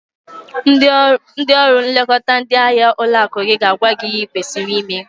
Ndị ọrụ nlekọta ndị ahịa ụlọakụ gị ga-agwa gị ihe ị kwesịrị ime